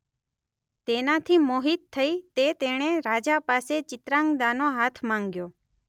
તેનાથી મોહિત થઈ તે તેણે રાજા પાસે ચિત્રાંગદાનો હાથ માંગ્યો.